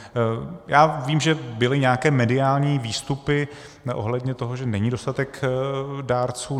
Já vím, že byly nějaké mediální výstupy ohledně toho, že není dostatek dárců.